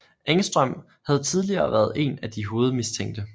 Engström havde tidligere været én af de hovedmistænkte